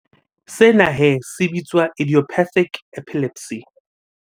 Sena he se bitswa idiopathic epilepsy.